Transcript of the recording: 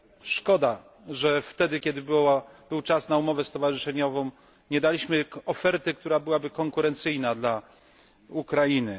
Szkoda, że wtedy, kiedy był czas na umowę stowarzyszeniową, nie daliśmy oferty, która byłaby konkurencyjna dla Ukrainy.